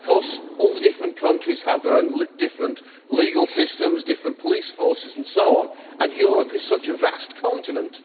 However, all the different countries have their own different legal systems, different police forces and so on, and Europe is such a vast continent.